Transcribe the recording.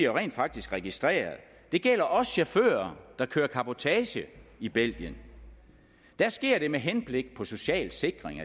rent faktisk registreret det gælder også chauffører der kører cabotage i belgien der sker det med henblik på social sikring